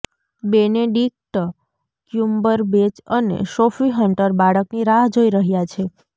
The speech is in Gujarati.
બેનેડિક્ટ ક્યૂમ્બરબેચ અને સોફી હન્ટર બાળકની રાહ જોઈ રહ્યાં છે